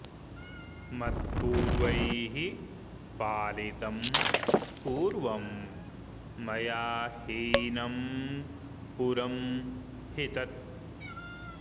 मत्पूर्वैः पालितं पूर्वं मया हीनं पुरं हि तत्